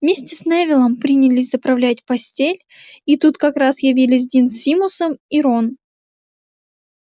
вместе с невиллом принялись заправлять постель и тут как раз явились дин с симусом и рон